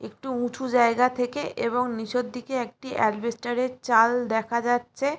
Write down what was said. একটু উঁচু জায়গা থেকে এবং নিচের দিকে অ্যাজবেসটার -এর চাল দেখা যাচ্ছে।